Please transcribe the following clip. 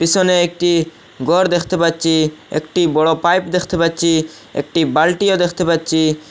পিছনে একটি ঘর দেখতে পাচ্ছি একটি বড় পাইপ দেখতে পাচ্ছি একটি বালটিও দেখতে পাচ্ছি।